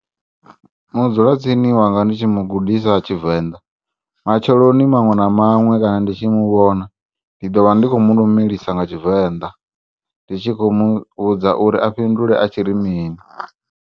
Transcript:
Mudzula tsini wanga ndi tshi mugudisa Tshivenda matsheloni maṅwe na maṅwe kana ndi tshi muvhona, ndi ḓovha ndi kho mulumelisa nga Tshivenda ndi tshi kho muvhudza uri afhindule ari mini.